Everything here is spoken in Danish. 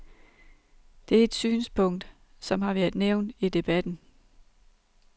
Det er et synspunkt, som har været nævnt i debatten.